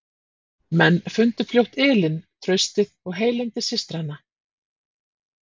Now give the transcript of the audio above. Menn fundu fljótt ylinn, traustið og heilindi systranna.